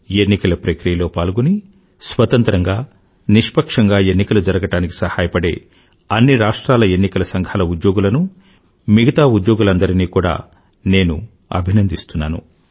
ఎన్నికల ప్రక్రియలో పాల్గొని స్వతంత్రంగా నిష్పక్షంగా ఎన్నికలు జరగడానికి సహాయపడే అన్ని రాష్ట్రాల ఎన్నికల సంఘాల ఉద్యోగులను మిగతా ఉద్యోగులనందరినీ కూడా నేను అభినందిస్తున్నాను